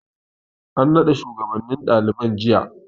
An nada shugabannin daliban jiya.